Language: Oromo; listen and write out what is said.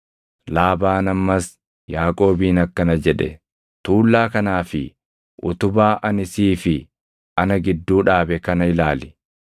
Laabaan ammas Yaaqoobiin akkana jedhe; “Tuullaa kanaa fi utubaa ani sii fi ana gidduu dhaabe kana ilaali.